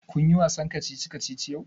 Kun yi wasan kacici kacici yau?